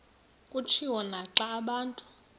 kutshiwo naxa abantu